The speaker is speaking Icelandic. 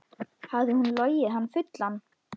Hafði hún logið hann fullan?